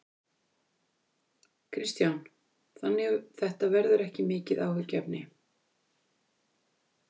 Kristján: Þannig þetta verður ekki mikið áhyggjuefni?